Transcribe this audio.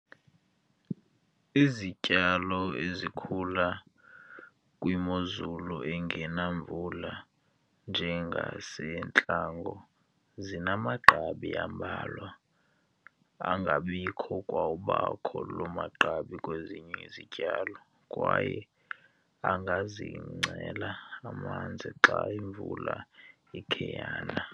Izityalo ezikhula kwimozulu engani mvula njengasentlango zinamagqabi ambalwa, angangabikho kwa ukubakho loo magqabi kwezinye izityalo, kwaye angazigcinela amanzi xa imvula ikhe yana.